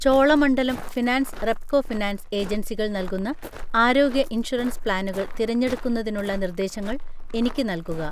Cholamandalam finance Repco finance ഏജൻസികൾ നൽകുന്ന ആരോഗ്യ ഇൻഷുറൻസ് പ്ലാനുകൾ തിരഞ്ഞെടുക്കുന്നതിനുള്ള നിർദ്ദേശങ്ങൾ എനിക്ക് നൽകുക